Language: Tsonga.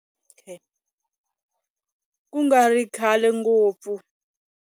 Ku nga ri kahle ngopfu.